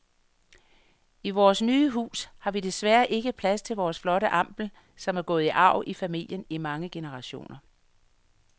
I vores nye hus har vi desværre ikke plads til vores flotte ampel, som er gået i arv i familien i mange generationer.